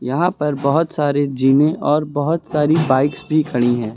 यहां पर बहुत सारे जीमें और बहुत सारी बाइक्स भी खड़ी हैं।